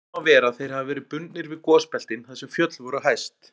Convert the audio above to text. Vel má vera að þeir hafi verið bundnir við gosbeltin þar sem fjöll voru hæst.